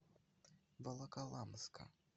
волоколамска